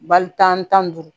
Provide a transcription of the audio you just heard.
Bali tan duuru